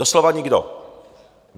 Doslova nikdo.